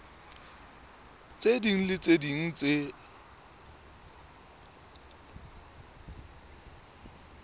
ding le tse ding tse